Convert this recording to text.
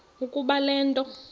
ukuba le nto